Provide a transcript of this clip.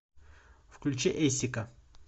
включи эйсика